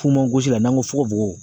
Funfun sisan n'an ko fogofogo